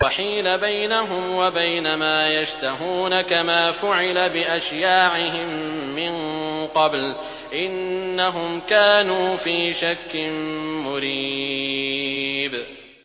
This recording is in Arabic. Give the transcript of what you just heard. وَحِيلَ بَيْنَهُمْ وَبَيْنَ مَا يَشْتَهُونَ كَمَا فُعِلَ بِأَشْيَاعِهِم مِّن قَبْلُ ۚ إِنَّهُمْ كَانُوا فِي شَكٍّ مُّرِيبٍ